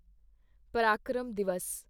Parakram Divas